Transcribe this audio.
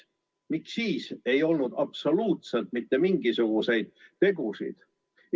Miks siis ei olnud absoluutselt mitte mingisuguseid tegusid?